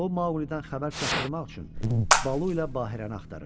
O, Mauqlidən xəbər çatdırmaq üçün Balu ilə Bahirəni axtarırdı.